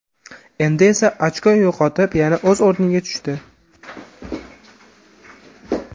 Endi esa ochko yo‘qotib, yana o‘z o‘rniga tushdi.